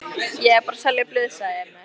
Ég er bara að selja blöð, sagði Emil.